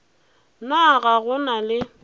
na ga go na le